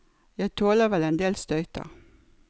Jeg tåler vel en del støyter.